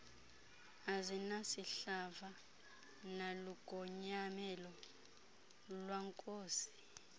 azinasihlava nalugonyamelo lwankosi